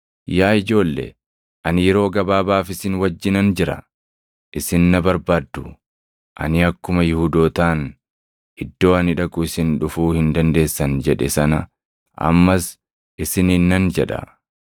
“Yaa ijoolle, ani yeroo gabaabaaf isin wajjinan jira. Isin na barbaaddu; ani akkuma Yihuudootaan, ‘Iddoo ani dhaqu isin dhufuu hin dandeessan’ jedhe sana ammas isiniin nan jedha.